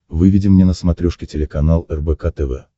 выведи мне на смотрешке телеканал рбк тв